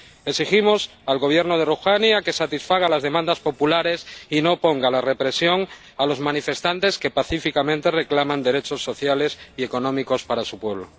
Exigimos al Gobierno de Rohaní que satisfaga las demandas populares y no oponga la represión a los manifestantes que pacíficamente reclaman derechos sociales y económicos para su pueblo.